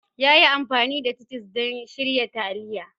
Ya yi amfani da titus don shirya taliya.